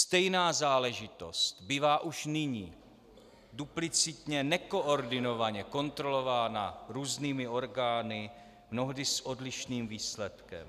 Stejná záležitost bývá už nyní duplicitně, nekoordinovaně kontrolována různými orgány, mnohdy s odlišným výsledkem.